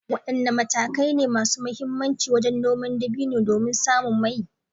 Wadanne matakai ne masu muhimmanci wajen noman dabino domin samun mai?